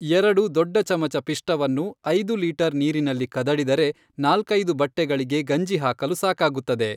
ಎರಡು ದೊಡ್ಡ ಚಮಚ ಪಿಷ್ಟವನ್ನು, ಐದು ಲೀಟರ್ ನೀರಿನಲ್ಲಿ ಕದಡಿದರೆ, ನಾಲ್ಕೈದು ಬಟ್ಟೆಗಳಿಗೆ ಗಂಜಿಹಾಕಲು ಸಾಕಾಗುತ್ತದೆ.